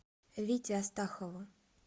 вите астахову